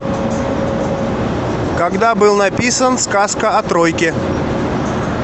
когда был написан сказка о тройке